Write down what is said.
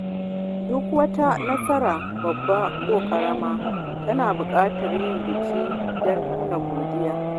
Duk wata nasara, babba ko ƙarama, tana bukatar yin biki don nuna godiya.